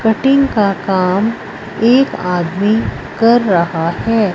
Cutting का काम एक आदमी कर रहा है।